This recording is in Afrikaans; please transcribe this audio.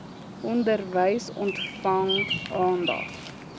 onderwys ontvang aandag